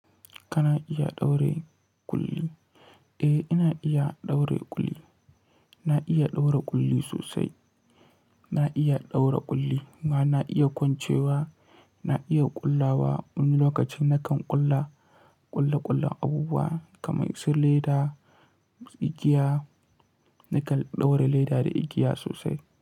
Kana iya ɗaure ƙulli? Eh, ina iya ɗaure ƙulli. Na iya ɗaure ƙulli sosai. Na iya ɗaure ƙulli, kuma na iya kwancewa, na iya ƙullawa. Wani lokacin nakan ƙulla ƙulle-ƙullen abubuwa kamar su leda, igiya. Nakan ɗaure leda da igiya sosai.